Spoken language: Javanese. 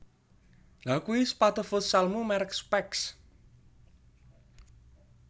Lha kui sepatu futsalmu merk Specs